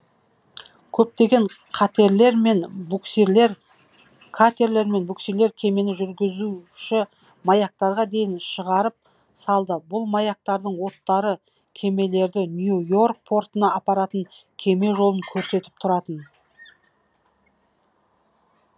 көптеген катерлер мен буксирлер кемені жүзуші маяктарға дейін шығарып салды бұл маяктардың оттары кемелерді нью и орк портына апаратын кеме жолын көрсетіп тұратын